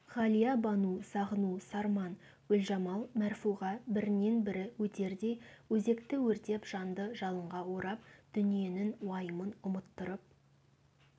ғалия-бану сағыну сарман гүлжамал мәрфуға бірінен бірі өтердей өзекті өртеп жанды жалынға орап дүниенің уайымын ұмыттырып